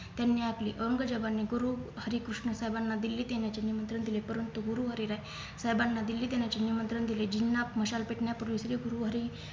त्यांनी आपली अंगजवानी गुरुहरेकृष्ण साहेबांना दिल्लीत येण्याचे निमंत्रण दिले परंतु गुरु हरिराय साहेबांना दिल्ली येण्याचे निमंत्रण दिले जिन्ना मशाल पेटण्यापूर्वी सगळे गुरु हरी